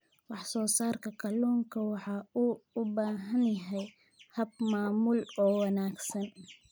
Wax soo saarka kalluunka waxa uu u baahan yahay hab maamul oo wanaagsan.